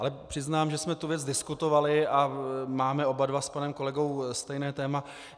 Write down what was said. Ale přiznám, že jsme tu věc diskutovali a máme oba dva s panem kolegou stejné téma.